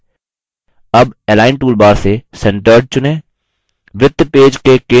अब align toolbar से centered चुनें